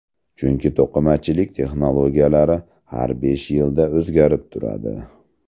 Chunki to‘qimachilik texnologiyalari har besh yilda o‘zgarib turadi.